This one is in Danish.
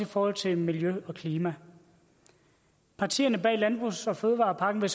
forhold til miljø og klima partierne bag landbrugs og fødevarepakken vil